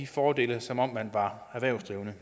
fordele som om man var erhvervsdrivende